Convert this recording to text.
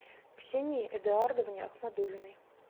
ксении эдуардовне ахмадуллиной